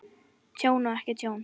Tjón og ekki tjón?